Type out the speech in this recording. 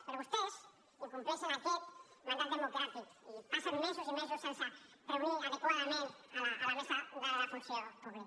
però vostès incompleixen aquest mandat democràtic i passen mesos i mesos sense reunir adequadament la mesa de la funció pública